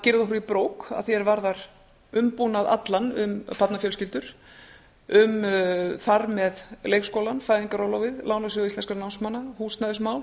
girða okkur í brók að því er varðar umbúnað allan um barnafjölskyldur um þar með leikskólann fæðingarorlofið lánasjóð íslenskra námsmanna húsnæðismál